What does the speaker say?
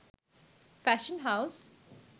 fashion house